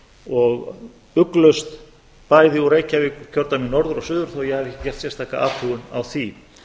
og ugglaust bæði úr reykjavíkurkjördæmi norður og suður þó að ég hafi ekki gert sérstaka athugun á því